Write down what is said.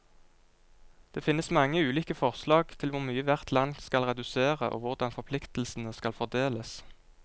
Det finnes mange ulike forslag til hvor mye hvert land skal redusere, og hvordan forpliktelsene skal fordeles.